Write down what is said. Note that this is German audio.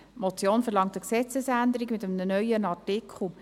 Die Motion verlangt eine Gesetzesänderung mit einem neuen Artikel.